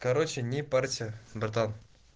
короче не парься братан